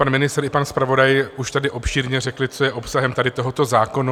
Pan ministr i pan zpravodaj už tady obšírně řekli, co je obsahem tady tohoto zákona.